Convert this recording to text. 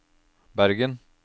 Bergen